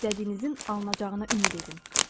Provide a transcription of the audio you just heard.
İstədiyinizin alınacağına ümid edin.